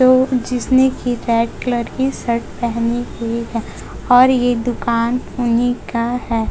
जो जिसने keypad colour की शर्ट पहनी हुई है और यह दुकान उन्हीं का है।